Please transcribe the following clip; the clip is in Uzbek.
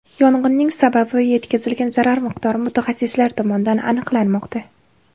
Yong‘inning sababi va yetkazilgan zarar miqdori mutaxassislar tomonidan aniqlanmoqda.